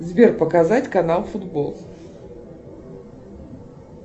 сбер показать канал футбол